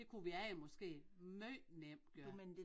Det kunne vi alle måske måj nemt gøre